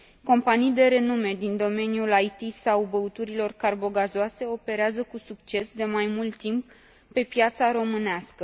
Companii de renume din domeniul IT sau al băuturilor carbogazoase operează cu succes de mai mult timp pe piața românească.